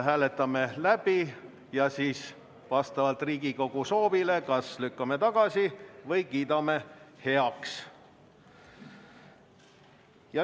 Hääletame need läbi ja vastavalt Riigikogu soovile kas lükkame tagasi või kiidame heaks.